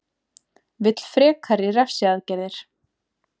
Vill frekari refsiaðgerðir